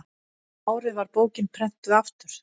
um árið var bókin prenntuð aftur